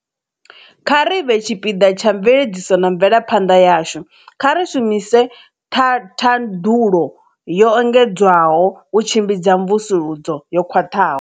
Kha ri vhe tshipiḓa tsha mveledziso na mvelaphanḓa yashu. Kha ri shumise thaḓulo yo engedzwaho u tshimbidza mvusuludzo yo khwaṱhaho.